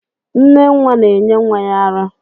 Nne nwa na-enye nwa ya ara